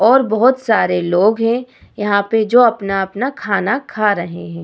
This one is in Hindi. और बहुत सारे लोग है यहाँ पे जो अपना-अपना खाना खा रहे है ।